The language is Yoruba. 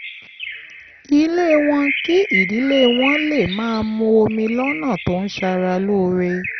ilé wọn kí ìdílé wọn lè máa mu omi lọ́nà tó ń ṣara lóore